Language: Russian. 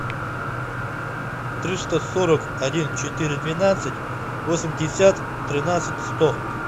триста сорок один четыре двенадцать восемьдесят тринадцать сто